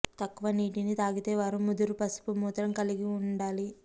తక్కువ నీటిని తాగితే వారు ముదురు పసుపు మూత్రం కలిగి ఉండాలి